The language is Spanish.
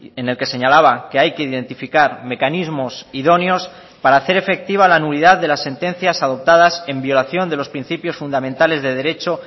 en el que señalaba que hay que identificar mecanismos idóneos para hacer efectiva la nulidad de las sentencias adoptadas en violación de los principios fundamentales de derecho